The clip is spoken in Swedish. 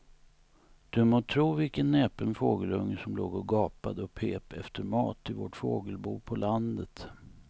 Du må tro vilken näpen fågelunge som låg och gapade och pep efter mat i vårt fågelbo på landet.